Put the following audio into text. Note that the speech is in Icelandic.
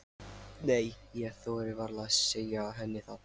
Nei, ég þori varla að segja henni það.